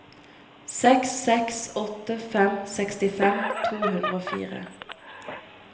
seks seks åtte fem sekstifem to hundre og fire